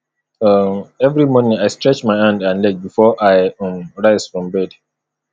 um every morning i stretch my hand and leg before i um rise from bed